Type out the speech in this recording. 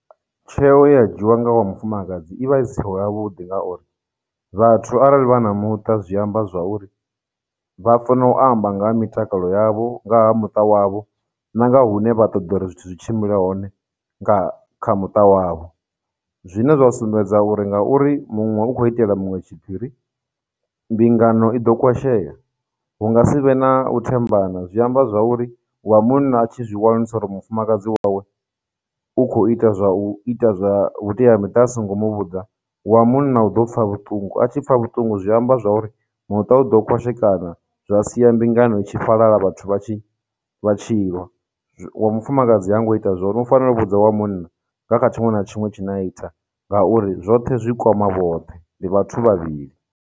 Tsheo ye ya dzhiwa nga wa mufumakadzi i vha i si tsheo ya vhuḓi ngauri, vhathu arali vha na muṱa zwi amba zwa uri, vha fanela u amba nga ha mitakalo yavho, nga ha muṱa wavho, na nga hune vha ṱoḓa uri zwithu zwi tshimbile hone nga kha muṱa wavho. Zwine zwa sumbedza uri nga uri muṅwe u khou itela muṅwe tshiphiri, mbingano i ḓo kwasheya, hu nga si vhe na u thembana, zwi amba zwa uri wa munna a tshi zwi wanulusa uri mufumakadzi wawe u khou ita zwa u ita zwa vhuteamiṱa a songo mu vhudza, wa munna u ḓo pfha vhuṱungu, a tshi pfha vhuṱungu zwi amba zwa uri muṱa u ḓo kwashekana, zwa sia mbingano i tshi fhalala vhathu vha tshi vha tshi lwa, wa mufumakadzi ha ngo ita zwone u fanela vhudza wa munna nga kha tshiṅwe na tshiṅwe tshi ne a ita ngauri zwoṱhe zwi kwama vhoṱhe, ndi vhathu vhavhili.